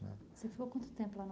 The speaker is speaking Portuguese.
Você ficou quanto tempo lá